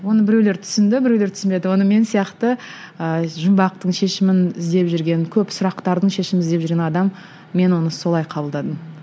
оны біреулер түсінді біреулер түсінбеді оны мен сияқты ыыы жұмбақтың шешімін іздеп жүрген көп сұрақтардың шешімін іздеп жүрген адам мен оны солай қабылдадым